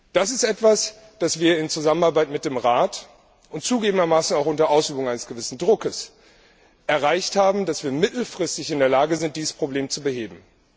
Das ist etwas, das wir in Zusammenarbeit mit dem Rat und zugegebenermaßen auch unter Ausübung eines gewissen Druckes erreicht haben, dass wir mittelfristig in der Lage sind, dieses Problem zu beheben.